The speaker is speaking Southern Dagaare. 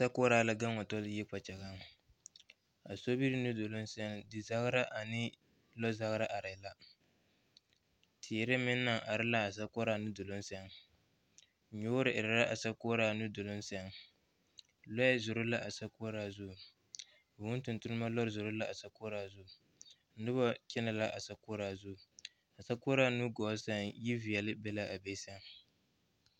Sokoɔraa la gaŋ wa tɔlɔ yiri kpɛ kyɛ. Asobiri nuduruŋ seŋ dezagera ane lɔzagra arɛɛ la. Teere meŋ naŋ are laa sokoɔraa nuduruŋ seŋ. Nyoore erɛ laa sokoɔraa nuduruŋ seŋ. Lɔɛ zoro laa sokoɔraa zuŋ. Vūū tontonema lɔɛ zoro laa sokoɔraa zu. Noba kyenɛ laa sokoɔraa zu. A sokoɔraa nu gɔɔ seŋ yiveɛle be a be.